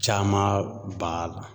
Caman b'a la.